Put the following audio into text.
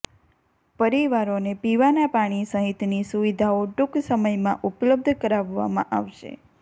પરિવારોને પીવાના પાણી સહિતની સુવિધાઓ ટૂંક સમયમાં ઉપલબ્ધ કરાવવામાં આવશે